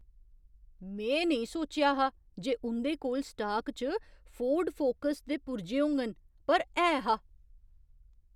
में नेईं सोचेआ हा जे उं'दे कोल स्टाक च फोर्ड फोकस दे पुर्जे होङन, पर है हा।